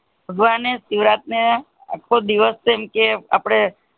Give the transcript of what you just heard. ભગવાન શિવરાત ને આખો દિવશ જેમકે આપણે